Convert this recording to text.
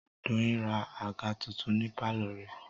Doyin ra àga tuntun ní pálọ̀ rẹ̀